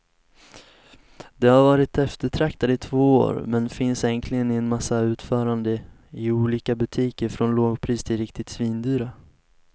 De har varit eftertraktade i två år, men finns äntligen i en massa utföranden i olika butiker från lågpris till riktigt svindyra.